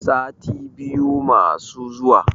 sati biyu masu zuwa